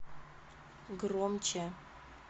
громче